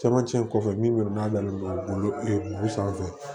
Camancɛ in kɔfɛ min n'a n'o sanfɛ